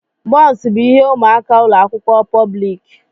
Bọns bụ ihe ụmụaka ụlọ akwụkwọ pọblik.